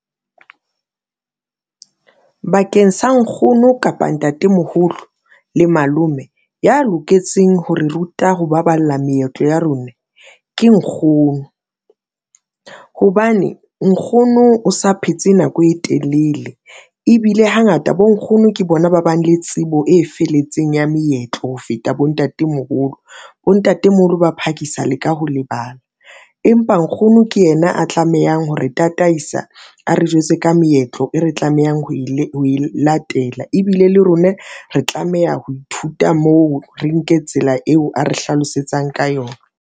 Bakeng sa nkgono kapa ntatemoholo le malome ya loketseng ho re ruta ho baballa meetlo ya rona ke nkgono hobane nkgono o sa phetse nako e telele ebile hangata bonkgono ke bona ba bang le tsebo e felletseng ya meetlo ho feta bo ntatemoholo, bo ntatemoholo ba phakisa le ka ho lebala, empa nkgono ke yena a tlamehang hore tataisa a re jwetse ka meetlo e re tlamehang ho e latela ebile le rona re tlameha ho ithuta moo re nke tsela eo a re hlalosetsang ka yona.